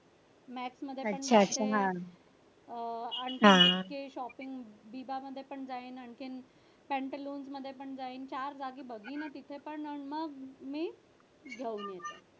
तिथे shopping बिबा मध्ये पण जाईन आणखीन पंतालोज मध्ये पण जाईन चार जागी बघीन आणि मग मी घेऊन येईन